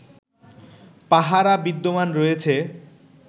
পাহারা বিদ্যমান রয়েছে